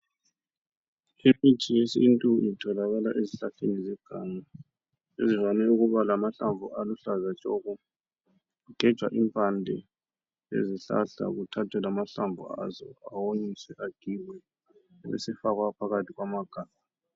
Imithi yesintu itholakala ezihlahleni zeganga, ezivame ukuba lamahlamvu aluhlaza tshoko! Kugejwa impande, ezihlahla, kuthathwe lamahlamvu azo. Awomiswe agigwe. Abesefakwa phakathi kwamagabha.